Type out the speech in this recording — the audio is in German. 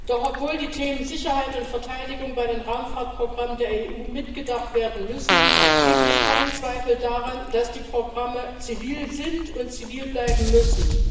Doch obwohl die Themen Sicherheit und Verteidigung bei den Raumfahrtprogrammen der EU mitgedacht werden müssen, gibt es keinen Zweifel daran, dass die Programme zivil sind und zivil bleiben müssen.